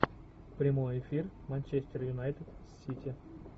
прямой эфир манчестер юнайтед сити